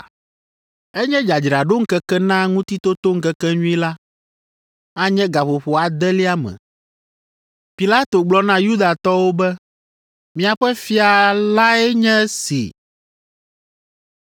Enye dzadzraɖoŋkeke na Ŋutitotoŋkekenyui la; anye gaƒoƒo adelia me. Pilato gblɔ na Yudatɔwo be, “Miaƒe fia lae nye esi!”